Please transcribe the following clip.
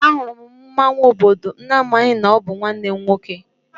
Ahụrụ m mmọnwụ obodo n'amaghị na ọ bụ nwanne m nwoke.